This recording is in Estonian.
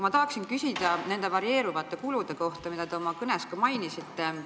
Ma tahan küsida nende varieeruvate kulude kohta, mida te oma kõnes mainisite.